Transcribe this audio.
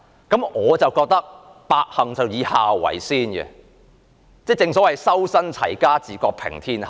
但是，我認為"百行以孝為先"，而古語有云："修身、齊家、治國、平天下"。